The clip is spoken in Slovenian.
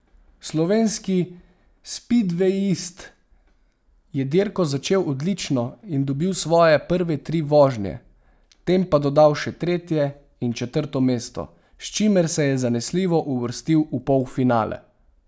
Slovenski spidvejist je dirko začel odlično in dobil svoje prve tri vožnje, tem pa dodal še tretje in četrto mesto, s čimer se je zanesljivo uvrstil v polfinale.